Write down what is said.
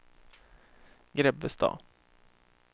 Grebbestad